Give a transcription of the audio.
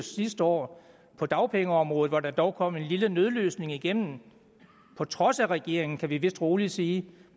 sidste år på dagpengeområdet hvor der dog kom en lille nødløsning igennem på trods af regeringen kan vi vist rolig sige